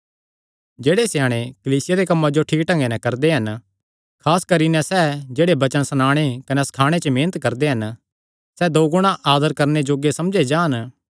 जेह्ड़े स्याणे कलीसिया दे कम्मां जो ठीक ढंगे नैं करदे हन खास करी नैं सैह़ जेह्ड़े वचन सणाणे कने सखाणे च मेहनत करदे हन सैह़ दो गुणा आदर करणे जोग्गे समझे जान